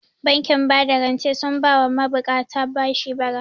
Bankin bada rancen sun ba wa ma buƙata bashi bara